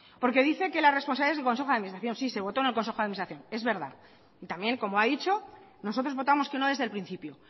porque dice que la responsabilidad es del consejo de administración sí se votó en el consejo de administración es verdad y también como ha dicho nosotros votamos que no desde el principio